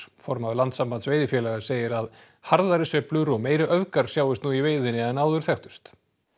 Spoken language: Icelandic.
formaður Landssambands veiðifélaga segir að harðari sveiflur og meiri öfgar sjáist nú í veiðinni en áður þekktust